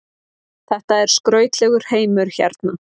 Þetta er skrautlegur heimur hérna.